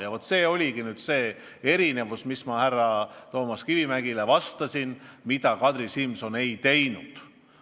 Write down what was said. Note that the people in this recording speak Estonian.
Ja see ongi erinevus, mida ma pidasin silmas, kui härra Kivimägile vastasin, seletades, mida Kadri Simson on teinud.